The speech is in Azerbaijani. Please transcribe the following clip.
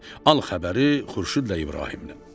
Al xəbəri Xurşudla İbrahimdən.